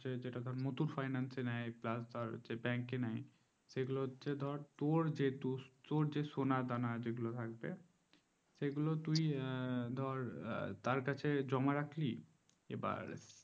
যেটা muthoot finance নেই please আর হচ্ছে bank নেই সেগুলো হচ্ছে তোর যেটা সোনা দানা যে গুলো থাকবে সেগুলো তুই ধর তার কাছে জমা রাখলি এবার